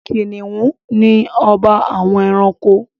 Kìnìún ni ọba àwọn ẹranko.